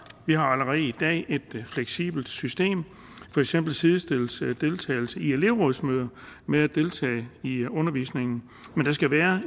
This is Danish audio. vi har allerede i dag et fleksibelt system for eksempel sidestilles deltagelse i elevrådsmøder med at deltage i undervisningen men der skal være